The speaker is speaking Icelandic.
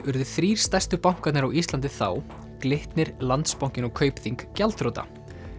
urðu þrír stærstu bankarnir á Íslandi þá Glitnir Landsbankinn og Kaupþing gjaldþrota